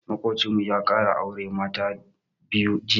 Maƙocinmu ya ƙara auren mata ta biyu jiya.